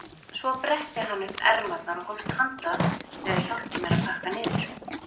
Svo bretti hann upp ermarnar og hófst handa við að hjálpa mér að pakka niður.